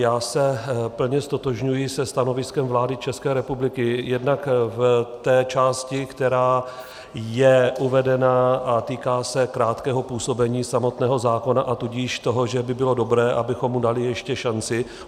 Já se plně ztotožňuji se stanoviskem vlády České republiky jednak v té části, která je uvedena a týká se krátkého působení samotného zákona, a tudíž toho, že by bylo dobré, abychom mu dali ještě šanci.